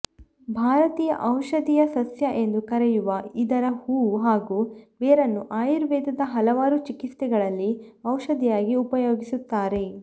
ಭಾರತೀಯ ಔಷಧೀಯ ಸಸ್ಯ ಎಂದು ಕರೆಯುವ ಇದರ ಹೂವು ಹಾಗೂ ಬೇರನ್ನು ಆಯುರ್ವೇದದ ಹಲವಾರು ಚಿಕಿತ್ಸೆಗಳಲ್ಲಿ ಔಷಧಿಯಾಗಿ ಉಪಯೋಗಿಸುತ್ತಾರೆ